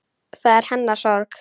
Það er hennar sorg.